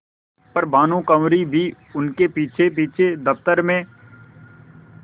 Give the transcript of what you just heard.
पर भानुकुँवरि भी उनके पीछेपीछे दफ्तर में